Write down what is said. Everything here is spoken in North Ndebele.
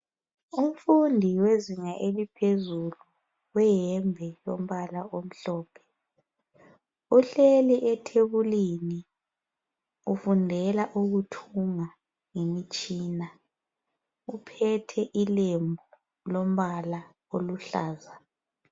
Umfundi wezinga eliphezulu weyembe elompala omhlophe uhleli ethebulini ufundela ukuthunga ngemitshina uphethe ilembu lompala oluhlaza.